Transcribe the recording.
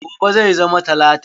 Gobe zai zama talata.